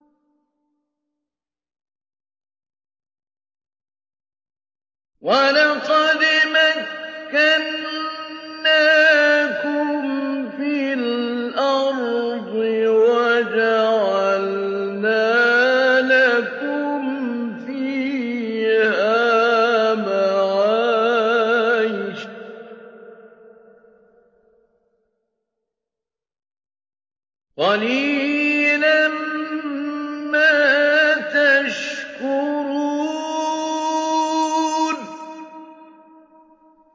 وَلَقَدْ مَكَّنَّاكُمْ فِي الْأَرْضِ وَجَعَلْنَا لَكُمْ فِيهَا مَعَايِشَ ۗ قَلِيلًا مَّا تَشْكُرُونَ